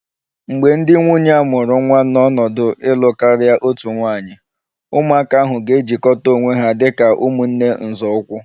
Mgbe ndị nwunye a mụrụ nwa n'ọnọdụ ịlụ karịa otu nwaanyị, ụmụaka ahụ ga-ejikọta onwe ha dị ka ụmụnne nzọụkwụ